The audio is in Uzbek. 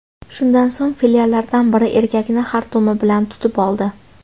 Shundan so‘ng fillardan biri erkakni xartumi bilan tutib oldi.